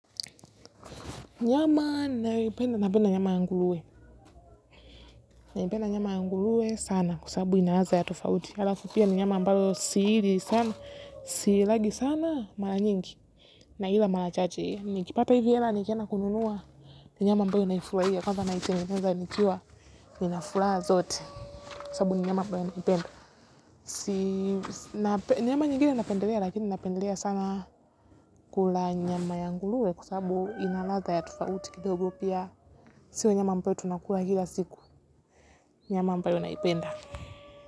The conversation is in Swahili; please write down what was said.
Nyama nayoipenda ni nyama ya ngurue. Naipenda nyama ya ngurue sana kwa sababu ina ladha ya tofauti. Alafu pia ni nyama ambayo sili sana, siilagi sana mara nyingi. Na ila mara chache. Nikipata hizi hela nitaenda kununua. Nyama ambayo naifurahia kwanza najitengeneza nikiwa nina furaha zote. Kwa sabu ni mnyama ambaye nampenda. Nyama nyingine napendelea lakini napendelea sana kula nyama ya nguruwe kwa sababu ina ladha ya tofauti. Kidogo pia sio nyama ambayo tunakula kila siku. Nyama ambayo naipenda.